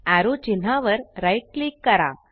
arrow चिन्हा वर right click करा